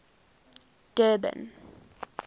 durban